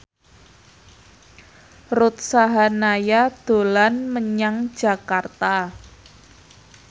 Ruth Sahanaya dolan menyang Jakarta